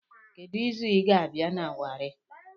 Kedu izu ịga-abịa na Wari